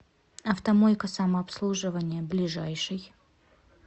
автомойка самообслуживания ближайший